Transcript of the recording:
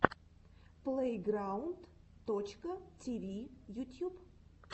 плэйграунд точка тиви ютьюб